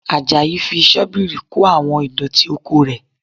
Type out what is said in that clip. Àjàyí fi Ṣọ́bìrì kó àwọn ìdọ̀tí oko rẹ̀